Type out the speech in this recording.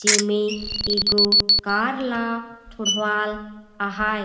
जेमे एगो कार ल छोड़वाल आहाए।